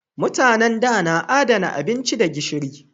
Mutanen da na adana abinci da gishiri